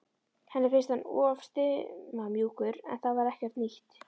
Henni fannst hann of stimamjúkur en það var ekkert nýtt.